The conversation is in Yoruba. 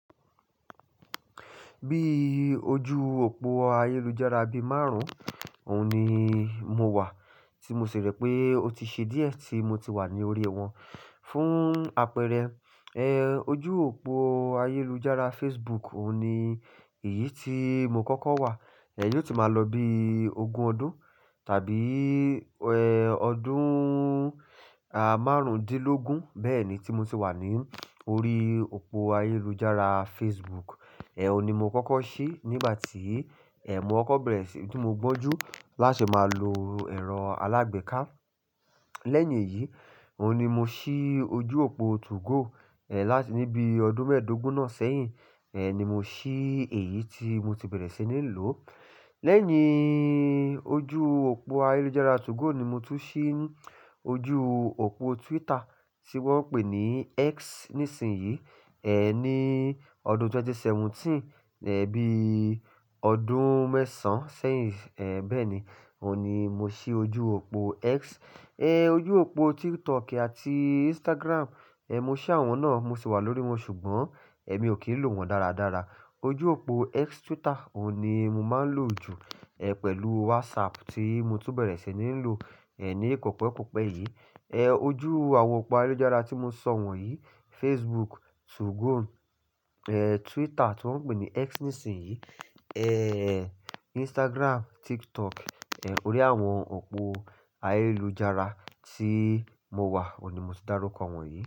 Bí ojú òpó ayélujára bí márùn-ún, òun ni mo wà tí mo ṣère pé o ti ṣe díẹ̀ tí mo ti wà ní orí wọn. Fún àpẹẹrẹ, ẹ́ ojú òpó ayélujára Facebook òun ni èyí tí mo kọ́kọ́ wà. Ẹ̀ yóò ti máa lọ bí ogún ọdún tàbí ẹ́ ọdún márùndínlógún bẹ́ẹ̀ ni tí mo ti wà ní orí òpó ayélujára Facebook. Ẹ̀ òun ni mo kọ́kọ́ ṣí nígbà tí è mọ kọ́bẹ̀rẹ̀ṣì tí mo gbọ́njú láṣẹ máa lo ẹ̀rọ alágbèéká. Lẹ́yìn èyí, òun ni mo ṣí ojú òpó 2go. Ẹ̀ láti níbi ọdún mẹ́ẹ̀dógún náà sẹ́yìn, ẹ̀ ni mo ṣí èyí tí mo ti bẹ̀rẹ̀ sí ní lò. Lẹ́yìn ojú òpó ayélujára 2go ni mo tún ṣí ojú òpó Twitter tí wọ́n ń pè ní X nísinsìnyí. Ẹ̀ ní ọdún ẹgbẹ̀rún méjì ó lé mẹ́tàdínlógún, ẹ́ bí ọdún mẹ́sàn-án sẹ́yìn ẹ̀ bẹ́ẹ̀ ni, òun ni mo ṣí ojú òpó X. Ẹ́ ojú òpó TikTok àti Instagram, ẹ́ mo ṣí àwọn náà mo sì wà lórí wọn ṣùgbọ́n ẹ̀mi ò kí ń lò wọ́n dáradára. Ojú òpó X Twitter òun ni mo máa ń lò jù ẹ́ pẹ̀lú WhatsApp tí mo tún bẹ̀rẹ̀ sí ní lò ẹ́ ní kọ̀pẹ́kọ̀pẹ́ yìí. Ẹ́ ojú àwọn òpó ayélujára tí mo ṣọ wọ̀nyí Facebook, 2go, ẹ́ Twitter tí wọ́n ń pè ní X nísinsìnyí, ẹ́ Instagram, TikTok. Ẹ̀ orí àwọn òpó ayélujára tí mo wà òun ni mo ti dárúkọ àwọn yìí.